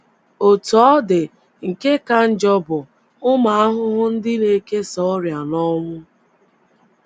Otú ọ dị, nke ka njọ bụ ụmụ ahụhụ ndị na - ekesa ọrịa na ọnwụ.